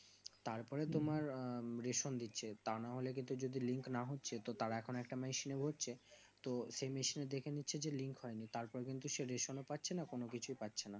তারপরে তোমার রেশম দিচ্ছে তা নাহলে কিন্তু যদি link না হচ্ছে তার এখন একটা মেশিনে ভরছে তো সেই মেশিনে দেখে নিচ্ছে যে link হয় নি তারপর কিন্তু সে রেশম ও পাচ্ছেনা কোনো কিছুই পাচ্ছেনা